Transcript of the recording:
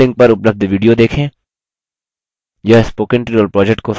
निम्न link पर उपलब्ध video देखें